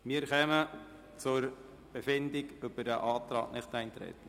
Wir befinden über den Antrag Nichteintreten.